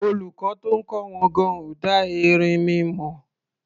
Olùkọ́ tó ń kọ́ wọn gan-an ò dá erinmi mọ̀.